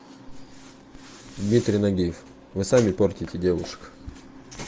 дмитрий нагиев вы сами портите девушек